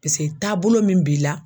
taabolo min b'i la.